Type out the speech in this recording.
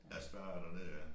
Ja Spar er dernede ja